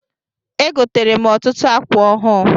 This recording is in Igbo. E gotere m ọtụtụ akwa ọhụụ.